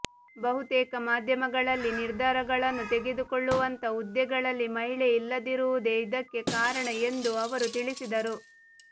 ಬಹುತೇಕ ಮಾಧ್ಯಮಗಳಲ್ಲಿ ನಿರ್ಧಾರಗಳನ್ನು ತೆಗೆದುಕೊಳ್ಳುವಂಥ ಹುದ್ದೆಗಳಲ್ಲಿ ಮಹಿಳೆ ಇಲ್ಲದಿರುವುದೇ ಇದಕ್ಕೆ ಕಾರಣ ಎಂದು ಅವರು ತಿಳಿಸಿದರು